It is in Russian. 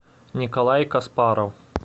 николай каспаров